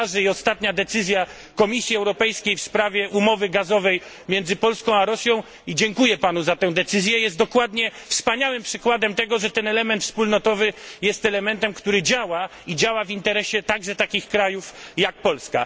Ostatnia decyzja Komisji Europejskiej w sprawie umowy gazowej między Polską a Rosją i dziękuję panu za tę decyzję jest dokładnie wspaniałym przykładem tego, że element wspólnotowy jest elementem, który działa, i działa w interesie także takich krajów jak Polska.